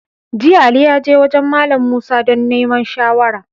Jiya, Ali ya je wajen Mallam Musa don neman shawara.